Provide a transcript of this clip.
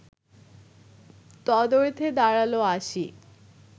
তদর্থে দাঁড়াল আসি